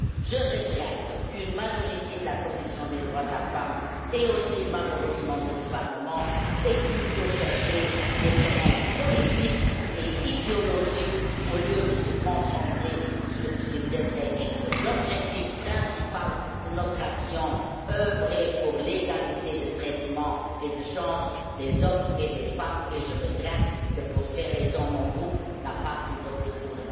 Je regrette qu'une majorité de la commission des droits de la femme et aussi malheureusement de ce Parlement ait plutôt cherché des querelles politiques et idéologiques au lieu de se concentrer sur ce qui devrait être l'objectif principal de notre action œuvrer pour l'égalité de traitement et des chances des hommes et des femmes, et je regrette que, pour ces raisons, mon groupe n'ait pas pu voter pour le rapport.